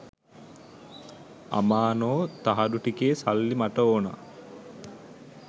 අමානෝ තහඩු ටිකේ සල්ලි මට ඕනේ